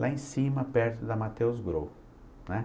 Lá em cima, perto da Matheus Grow, né?